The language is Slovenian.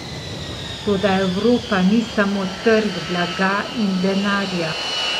Toda Evropa ni samo trg blaga in denarja.